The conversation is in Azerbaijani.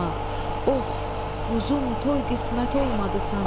Of, quzum, toy qismət olmadı sana!